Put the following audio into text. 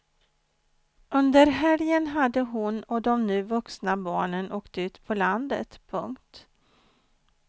Under helgen hade hon och de nu vuxna barnen åkt ut på landet. punkt